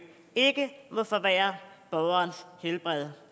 ikke må forværre borgerens helbred